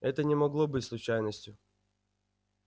это не могло быть случайностью